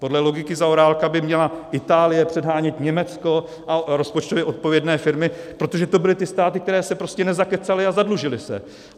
Podle logiky Zaorálka by měla Itálie předhánět Německo a rozpočtově odpovědné firmy, protože to byly ty státy, které se prostě nezakecaly a zadlužily se.